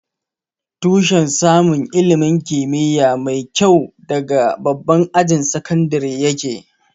Tushen samun ilimin kimiyya mai kyua daga babban ajin sakandire ya ke